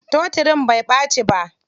Totirin bai ɓaci ba.